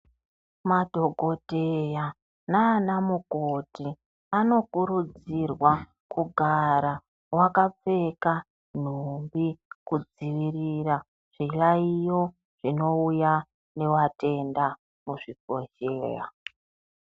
Madhokodheya naana mukoti vanokurudzirwa kugara vakapfeka nhumbi kudzivirira zvilaiyo zvinouya nevatenda muzvibhedhleya.